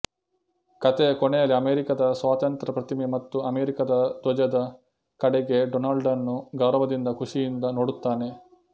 ಕಥೆಯ ಕೊನೆಯಲ್ಲಿ ಅಮೆರಿಕಾದ ಸ್ವಾತಂತ್ರ್ಯ ಪ್ರತಿಮೆ ಮತ್ತು ಅಮೆರಿಕಾದ ಧ್ವಜದ ಕಡೆಗೆ ಡೊನಾಲ್ಡನು ಗೌರವದಿಂದ ಖುಷಿಯಿಂದ ನೋಡುತ್ತಾನೆ